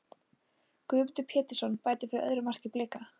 Guðmundur Pétursson bætir við öðru marki fyrir Blika.